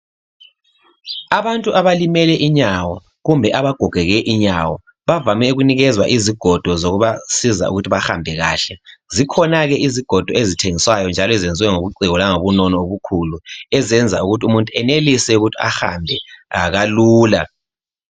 Abantu abalimele inyawo, kumbe abagogeke inyawo, bavame ukunikezwa izigodo zokubasiza ukuthi bahambe kahle. Zikhona ke izigodo ezithengiswayo njalo ezenziwe ngobuciko langobunono obukhulu, ezenza ukuthi umuntu enelise ukuthi ahambe kalula.